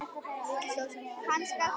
Stóð litla stund þögull fyrir framan mig.